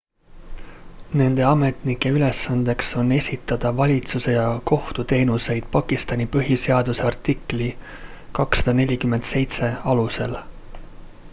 nende ametnike ülesandeks on esitada valitsuse ja kohtuteenuseid pakistani põhiseaduse artikli 247 alusel